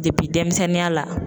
denmisɛnninya la.